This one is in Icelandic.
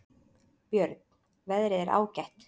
Björn: Veðrið er ágætt.